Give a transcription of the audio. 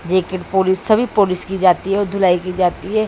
Jacket polish सभी polish की जाती है दुलाई की जाती है।